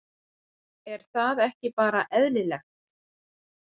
Er það ekki bara eðlilegt?